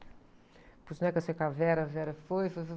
que eu saí com a, a foi, foi, foi.